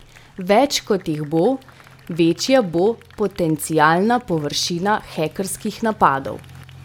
Več kot jih bo, večja bo potencialna površina hekerskih napadov.